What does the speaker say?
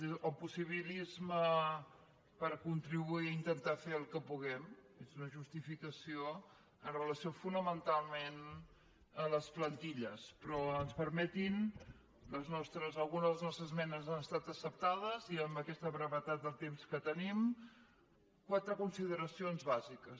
el possibilisme per contribuir i intentar fer el que puguem és una justificació amb re·lació fonamentalment a les plantilles però ens per·metin algunes de les nostres esmenes han estat ac·ceptades i amb aquesta brevetat de temps que tenim quatre consideracions bàsiques